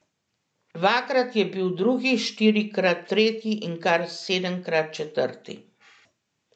Dvakrat je bil drugi, štirikrat tretji in kar sedemkrat četrti.